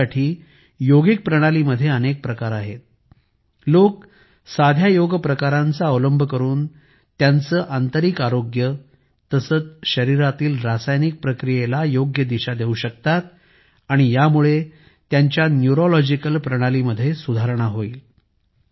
यासाठी योगिक प्रणालीमध्ये अनेक प्रकार आहेत लोकं साध्या योग प्रकारांचा अवलंब करून त्यांचे आंतरिक आरोग्य तसेच शरीरारातील रासायनिक प्रक्रिया योग्य दिशेने करू शकतात आणि यामुळे त्यांच्या न्यूरोलॉजिकल प्रणाली मध्ये सुधारणा होईल